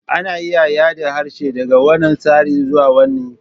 Ana iya yada harshe daga wannan tsara zuwa wani.